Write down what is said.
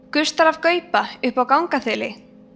gustar af gauba uppi á gangþili